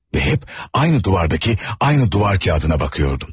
Və hep aynı duvardakı aynı duvar kağıdına bakıyordum.